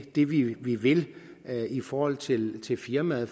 det vi vi vil i forhold til til firmaet